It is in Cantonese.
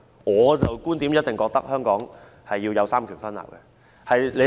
我的觀點認為香港必須有三權分立。